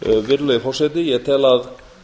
virðulegi forseti ég tel að